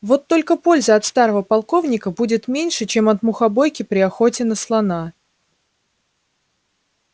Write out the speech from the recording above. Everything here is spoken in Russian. вот только пользы от старого полковника будет меньше чем от мухобойки при охоте на слона